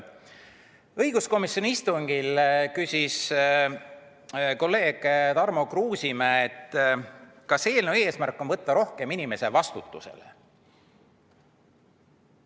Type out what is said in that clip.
Õiguskomisjoni istungil küsis kolleeg Tarmo Kruusimäe, kas eelnõu eesmärk on võtta rohkem inimesi vastutusele.